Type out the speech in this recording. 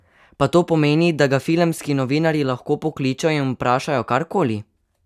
Pa to pomeni, da ga filmski novinarji lahko pokličejo in vprašajo kar koli?